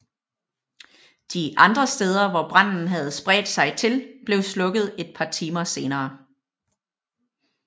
De andre steder hvor branden havde spredt sig til blev slukket et par timer senere